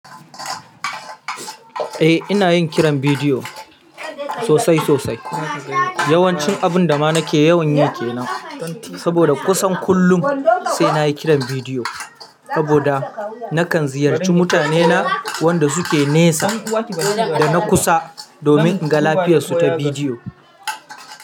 Eh, ina yin kiran bidiyo sosai sosai. Yawancin abun da ma nake yawan yi kenan. Saboda kusan kullum sai nayi kiran bidiyo. Saboda nakan ziyarci mutane na wanda suke nesa da na kusa domin in ga lafiyarsu ta bidiyo.